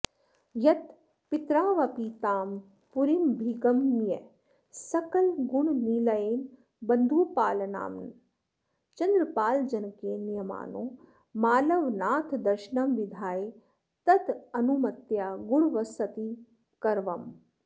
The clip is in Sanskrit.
यत्पितरावपि तां पुरीमभिगमय्य सकलगुणनिलयेन बन्धुपालनाम्ना चन्द्रपालजनकेन नीयमानो मालवनाथदर्शनं विधाय तदनुमत्या गूढवसतिमकरवम्